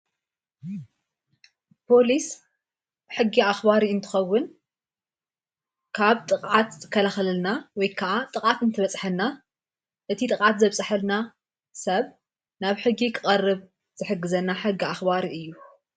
ፖሊስ ሕጊ ኣኽባሪ እንትኸውን ካብ ጥቕዓት ክኸላኸለልና ወይከዓ ጥቓት እንትበጽሐና እቲ ጥቓት ዘብጽሐልና ሰብ ናብ ሕጊ ኽቐርብ ዝሕግዘና ሕጊ ኣኽባር እዩ።